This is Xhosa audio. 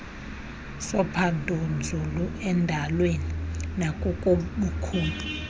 sophandonzulu endalweni nakubukhulu